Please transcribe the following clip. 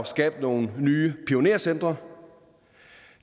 skabe nogle nye pionercentre